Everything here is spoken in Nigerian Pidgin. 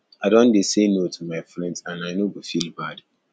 i don dey say no to my friends and i no go feel bad